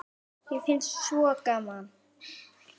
Mér finnst svo gaman!